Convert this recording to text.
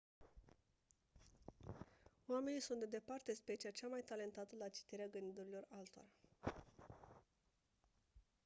oamenii sunt de departe specia cea mai talentată la citirea gândurilor altora